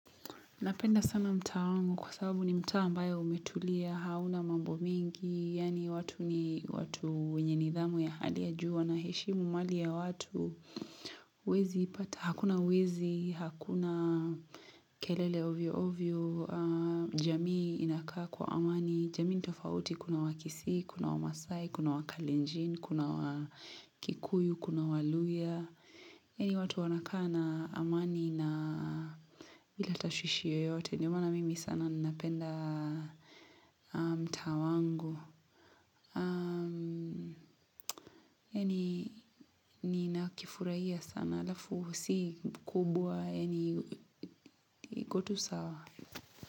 Napenda sana mtaangu kwa sababu ni mtaambayo umetulia, hauna mambo mingi, yani watu ni watu wenye nidhamu ya hali ya juu, wanaheshimu mali ya watu. Huezipata, hakuna wezi, hakuna kelele ovyo ovyo, jamii aaa inakaa kwa amani, jamii nitofauti kuna wakisii, kuna wamasai, kuna wakalinjin, kuna wakikuyu, kuna waluya. Yeni watu wanakana amani na bilatashwishi yoyote. Ndiyo maana mimi sana ninapenda mtaa wangu. Aaa Yeni ni nakifurahia sana alafu si kubwa yeni ikotu sawa.